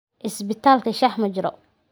Cisbitaalka shaah ma jiro.